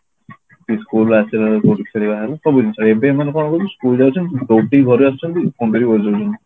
ନାଇଁ school ରୁ ଆସିଲାବେଳକୁ ଖେଳିବା ହେଲା ସବୁ ଜିନିଷ ଏବେ ମନେ କଣ କହିଲୁ school ଯାଉଛନ୍ତି ଦୌଡିକି ଘରକୁ ଆସୁଛନ୍ତି phone ଟା ଧରିକି ବସିଯାଉଛନ୍ତି